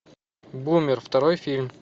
бумер второй фильм